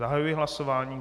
Zahajuji hlasování.